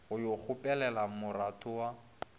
go yo kgopelela moratho wa